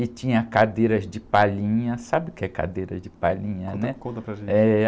e tinha cadeiras de palhinha, sabe o que é cadeira de palhinha, né?onta, conta para gente.